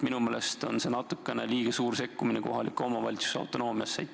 Minu meelest on see natukene liiga suur sekkumine kohaliku omavalitsuse autonoomiasse.